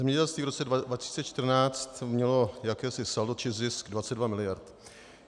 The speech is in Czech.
Zemědělství v roce 2014 mělo jakési saldo či zisk 22 mld.